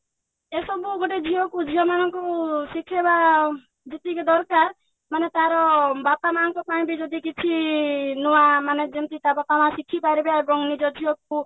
ଏସବୁ ଗୋଟେ ଝିଅକୁ ଝିଅ ମାନଙ୍କୁ ଶିଖେଇବା ଯେତିକି ଦରକାର ମାନେ ତାର ବାପା ମାଆଙ୍କ ପାଇଁ ବି ଯଦି କିଛି ନୂଆ ମାନେ ଯେମିତି ତା ବାପା ମାଆ ଶିଖିପାରିବେ ଏବଂ ନିଜ ଝିଅକୁ